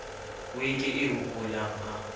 eo ke e hopolang ha